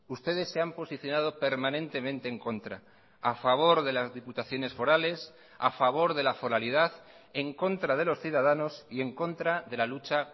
ustedes se han posicionado permanentemente en contra a favor de las diputaciones forales a favor de la foralidad en contra de los ciudadanos y en contra de la lucha